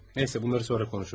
Neyse, bunları sonra danışırıq.